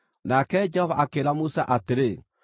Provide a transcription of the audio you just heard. Nake Jehova akĩĩra Musa atĩrĩ: